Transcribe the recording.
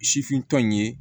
Sifintɔ in ye